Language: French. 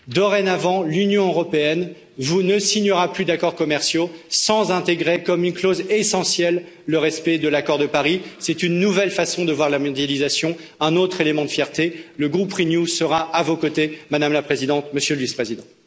Dorénavant, l'Union européenne ne signera plus d'accords commerciaux sans intégrer, comme une clause essentielle, le respect de l'accord de Paris. C'est une nouvelle façon de voir la mondialisation, un autre élément de fierté, et le groupe Renew sera à vos côtés, Madame la Présidente, Monsieur le Vice président.